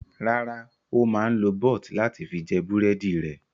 Rárá, ó máa ń lo bọ́t láti fi jẹ búrẹ́dì rẹ̀.